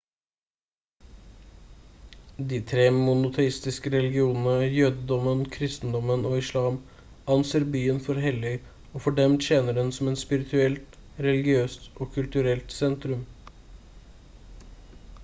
de tre monoteistiske religionene jødedommen kristendommen og islam anser byen for hellig og for dem tjener den som et spirituelt religiøst og kulturelt sentrum